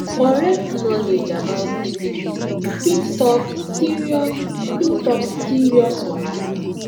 correct knowledge about syphilis fit stop serious fit stop serious wahala